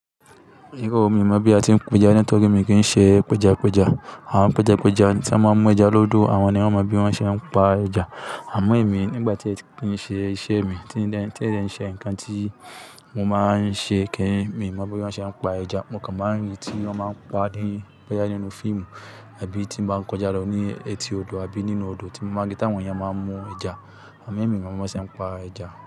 Iro o, mi ò mọ̀ bí a ti ń peja, nítorí mi kì ń ṣe peja peja. Àwọn p'eja p'eja tí wọ́n máa ń mú ẹja lódò, àwọn ni wọ́n mọ bí wọ́n ṣe ń pa ẹja. Àmọ́ èmi nígbà tí è kin ṣe iṣẹ́ mi, tí n de, tí o n de ṣe nǹkan tí mo máa ń ṣe kì ń, mi mọ bí wọ́n ṣe ń pa ẹja. Mo kàn máa ń rí i tí wọ́n máa ń pa ní, boya nínú fíìmù àbí tí mo bá kọjá lọ ní etí odò àbí nínú odò tí mo maa n ri táwọn èèyàn máa ń mú ẹja. Àmọ́, èmi ò mọ b'onṣe ń pa ẹja.